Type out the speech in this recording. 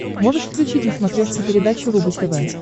можешь включить на смотрешке передачу рубль тв